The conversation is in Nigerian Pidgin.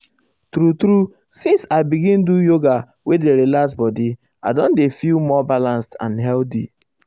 true true since i begin do yoga wey dey relax body i don dey feel more balanced and healthy.